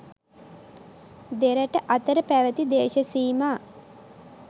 දෙරට අතර පැවැති දේශසීමා